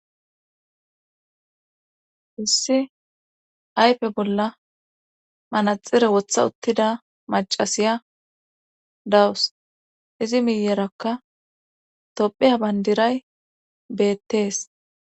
saana issi keehi lo7ida issiy wora do7a beettos izakka gammo doonan genessa geetetta xeesetida hayssan lo7a xeelishe woykko bettishe daawa